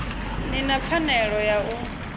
ni na pfanelo ya u